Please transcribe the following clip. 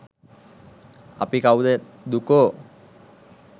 අපි කවුද දුකෝ?